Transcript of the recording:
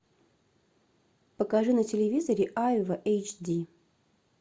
покажи на телевизоре айва эйч ди